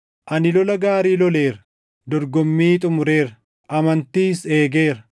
Ani lola gaarii loleera; dorgommii xumureera; amantiis eegeera.